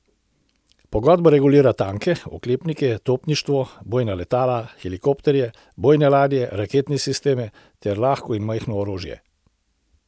Pogodba regulira tanke, oklepnike, topništvo, bojna letala, helikopterje, bojne ladje, raketne sisteme ter lahko in majhno orožje.